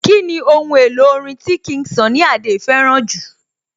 Kíni ohun èlò orin tí King Sunny Adé fẹ́ràn jù?